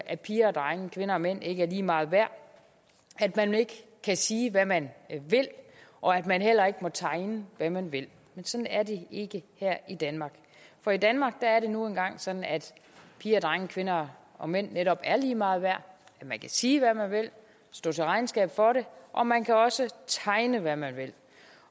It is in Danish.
at piger og drenge kvinder og mænd ikke er lige meget værd at man ikke kan sige hvad man vil og at man heller ikke må tegne hvad man vil men sådan er det ikke her i danmark for i danmark er det nu engang sådan at piger og drenge kvinder og mænd netop er lige meget værd at man kan sige hvad man vil stå til regnskab for det og man kan også tegne hvad man vil